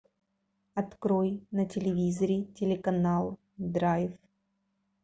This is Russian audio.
открой на телевизоре телеканал драйв